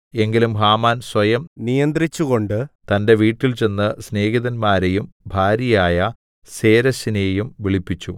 എങ്കിലും ഹാമാൻ സ്വയം നിയന്ത്രിച്ചുകൊണ്ട് തന്റെ വീട്ടിൽചെന്ന് സ്നേഹിതന്മാരെയും ഭാര്യയായ സേരെശിനെയും വിളിപ്പിച്ചു